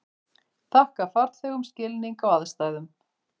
Þakka farþegum skilning á aðstæðum